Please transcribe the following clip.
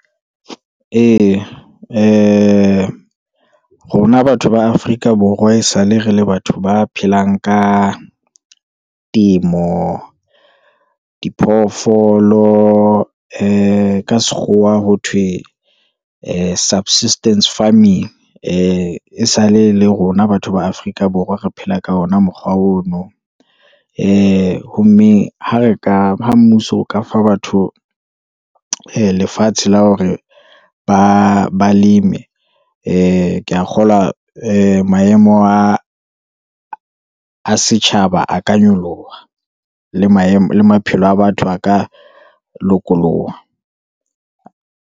Ee, rona batho ba Afrika Borwa, e sale re le batho ba phelang ka temo, diphoofolo, ee ka sekgowa ho thwe ee, subsistance farming, ee sale le rona batho ba Afrika Borwa re phela ka ona mokgwa ono, ee ho mme, ha re ka, ha mmuso o ka fa batho ee, lefatshe la hore baleme, ee ke ya kgolwa maemo a setjhaba a ka nyoloha, le maphelo a batho a ka lokoloha.